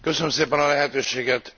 Köszönöm szépen a lehetőséget!